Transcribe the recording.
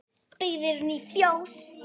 Byggð eru ný fjós.